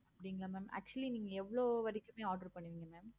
அப்படிங்களா mam actually எவ்வளோ வரைக்குமே order பண்ணிருக்கீங்க?